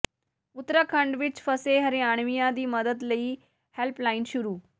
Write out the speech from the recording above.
ਉਤਰਾਖੰਡ ਵਿੱਚ ਫਸੇ ਹਰਿਆਣਵੀਆਂ ਦੀ ਮਦਦ ਲਈ ਹੈਲਪਲਾਈਨ ਸ਼ੁਰੂ